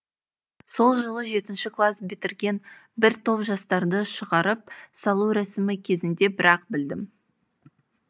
сол жылы жетінші класс бітірген бір топ жастарды шығарып салу рәсімі кезінде бір ақ білдім